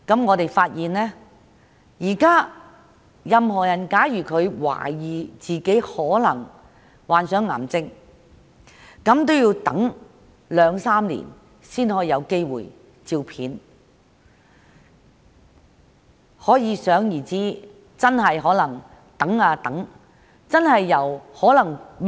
我們發現任何人如懷疑自己患上癌症，現時要等候兩三年才有機會接受磁力共振掃描。